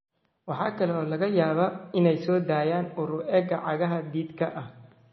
Waxa kale oo laga yaabaa inay soo daayaan ur u eg cagaha dhididka ah.